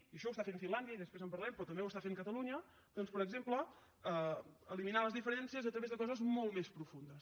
això ho està fent finlàndia i després en parlarem però també ho està fent catalunya doncs per exemple eliminar les diferències a través de coses molt més profundes